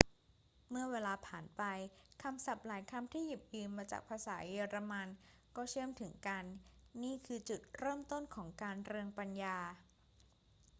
เมื่อเวลาผ่านไป คำศัพท์หลายคำที่หยิบยืมมาจากภาษาเยอรมันก็เชื่อมถึงกัน นี่คือจุดเริ่มต้นของการเรืองปัญญา